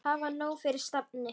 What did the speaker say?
Hafa nóg fyrir stafni.